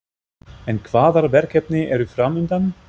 En hvaða verkefni eru framundan?